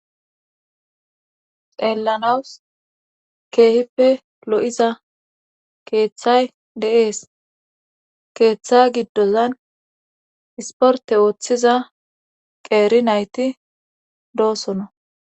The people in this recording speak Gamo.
xeellanawus keehippe lo7iza keeththay de7ees keeththa giddozan isporte ooththiza qeeri nayti doosonoa